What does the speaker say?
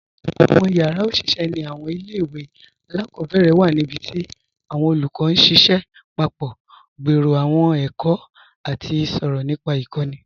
Awọn yara oṣiṣẹ ni awọn ilẹ̀-iwe aláàkọbẹ̀rẹ̀ wa nibíti awọn olúkọ̀ n ṣiṣẹ papọ̀, gbèrò awọn èkó, àti sọ̀rọ̀ nípa ikọ̀ni.